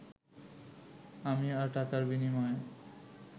আমি আর টাকার বিনিময়ে